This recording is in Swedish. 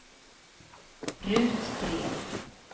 Ruth Gren